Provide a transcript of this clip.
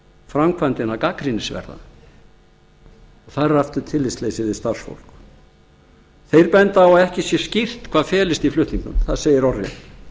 framkvæmdina gagnrýnisverða þar er aftur tillitsleysi við starfsfólk þeir benda á að það sé ári skýrt hvað felist í flutningunum það segir orðrétt